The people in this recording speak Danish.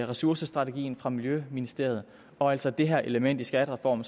ressourcestrategien fra miljøministeriet og altså det her element i skattereformen